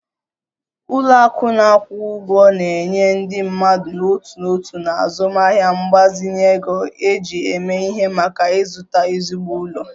Ụlọ akụ na-akwụ ụgwọ na-enye ndị mmadụ n'otu n'otu na azụmaahịa mgbazinye ego eji eme ihe maka ịzụta ezigbo ụlọ